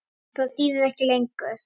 Það þýðir ekki lengur.